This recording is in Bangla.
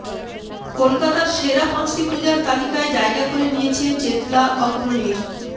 কলকাতার সেরা পাঁচটি পূজার তালিকায় জায়গা করে নিয়েছে চেতলা অগ্রণীর